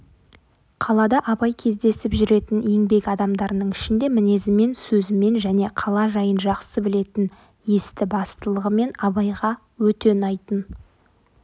қалада абай кездесіп жүретін еңбек адамдарының ішінде мінезімен сөзімен және қала жайын жақсы білетін есті-бастылығымен абайға өте ұнайтын